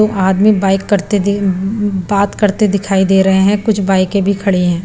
तो आदमी बाइक करते दी उ उ बात करते दिखाई दे रहे हैं कुछ बाइकें भी खड़ी हैं।